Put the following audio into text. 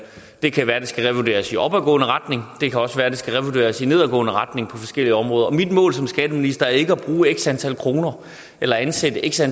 det kan være at det skal revurderes i opadgående retning og det kan også være at det skal revurderes i nedadgående retning på forskellige områder og mit mål som skatteminister er ikke at bruge x antal kroner eller at ansætte x